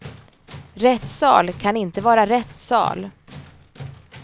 Rättssal kan inte vara rätt sal.